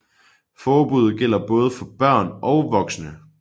Forbuddet gælder både for børn og voksne